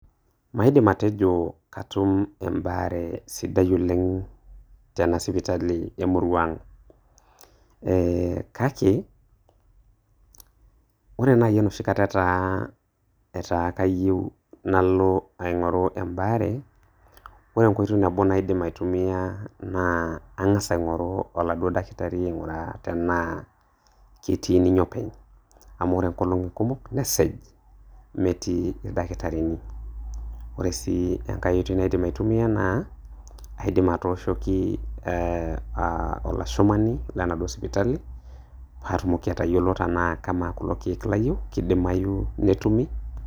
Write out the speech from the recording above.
Maidim atejo katum embaare sidai oleng' tenasipitali emurua ang', eeh kake ore naaji enoshi kata etaa, etaa kayieu nalo aing'oru embaare, ore enkoitoi nabo naidim aitumia naa ang'as aing'goru oladuo daktari aing'uraa tenaa ketii ninye openy amu ore nkolong'i kumok nesej metii ildaktarini. Ore sii enkae oitoi naidim aitumia naa aidim atooshoki eeh aah olashumani lenaduo sipitali paatumoki atayiolo tenaa kamaa kulo keek layieu keidimayu netumi.